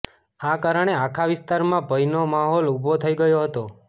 આ કારણે આખા વિસ્તારમાં ભયનો માહોલ ઉભો થઇ ગયો હતો